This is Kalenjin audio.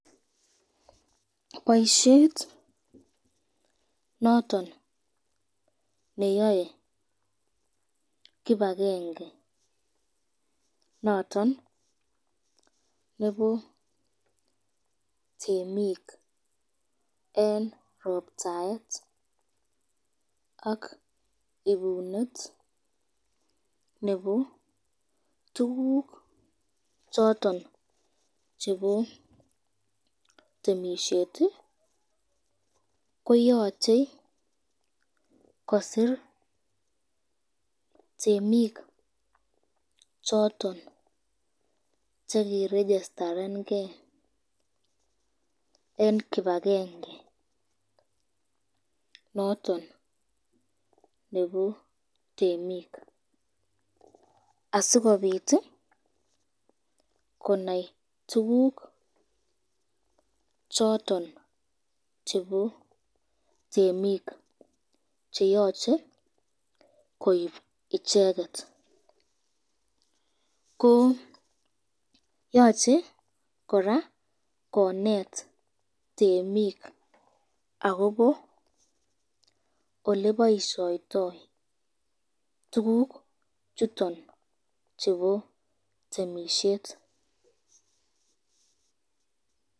Boisyet noton neyae kibakenge noton nebo temik eng roptaet ak ibunet nebo tukuk choton chebo temisyet, ko yachei kosir temik choton chekirejistaren eng kibakenge noton nebo t